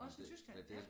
Også i Tyskland ja